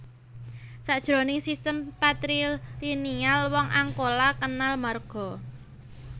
Sajroning sistem patrilineal wong Angkola kenal marga